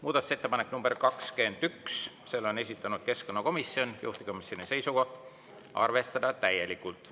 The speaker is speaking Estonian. Muudatusettepanek nr 21, selle on esitanud keskkonnakomisjon, juhtivkomisjoni seisukoht: arvestada täielikult.